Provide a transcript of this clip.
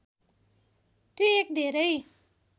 त्यो एक धेरै